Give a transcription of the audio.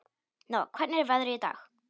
Nóa, hvernig er veðrið í dag?